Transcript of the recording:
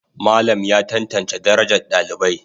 Malam ya tantance darajar dalibai.